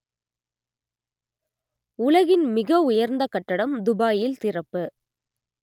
உலகின் மிக உயர்ந்த கட்டடம் துபாயில் திறப்பு